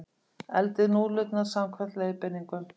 Eldið núðlurnar samkvæmt leiðbeiningum.